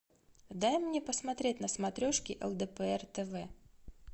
дай мне посмотреть на смотрешке лдпр тв